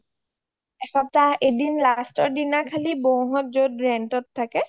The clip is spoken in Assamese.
এক সপ্তাহ এদিন খালিকি lastতৰ দিনাখন বৌ হ’ত য’ত rentত থাকে